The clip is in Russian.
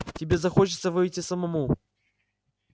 тебе захочется выйти самому